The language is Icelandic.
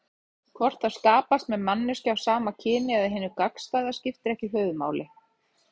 Hvort það skapast með manneskju af sama kyni eða hinu gagnstæða skiptir ekki höfuðmáli.